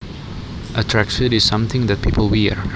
A tracksuit is something that people wear